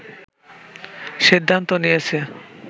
সিদ্ধান্ত নিয়েছে